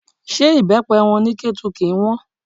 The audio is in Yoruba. Ṣé ibepe wọn ní Ketu kì í hàn?